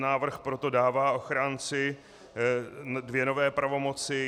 Návrh proto dává ochránci dvě nové pravomoci.